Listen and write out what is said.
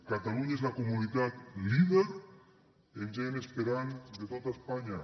catalunya és la comunitat líder en gent esperant de tota espanya